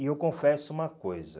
E eu confesso uma coisa.